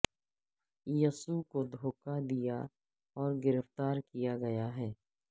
یسوع کو دھوکہ دیا اور گرفتار کیا گیا ہے